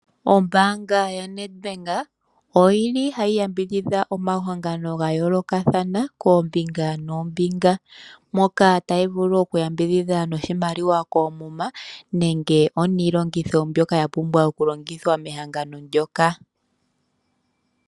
Ombaanga yaNedbank oyili hayi yambidhidha omahangano gayoolokathana koombinga noombinga. Moka tayi vulu okuyambidhidha noshimaliwa koomuma nenge oniilongitho mbyoka yapumbwa okulongithwa mehangano ndyoka.